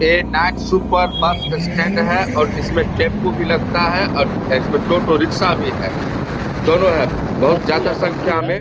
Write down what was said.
ए नाक्स superb bus stand है और इसमें टेंपो भी लगता है और इसमें टोटो रिक्शा भी है। दोनों है बहुत ज्यादा संख्या में।